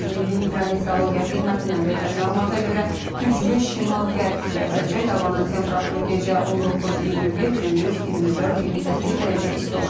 Milli hidrometrologiya xidmətindən verilən məlumata görə güclü şimal-qərb küləyi əsəcək, havanın temperaturu gecə 19-21, gündüz 24-28 dərəcə isti olacaq.